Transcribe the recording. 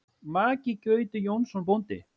Maki Gauti Jónsson bóndi.